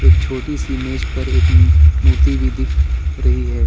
एक छोटी सी मेज पर एक मूर्ति भी दिख रही है।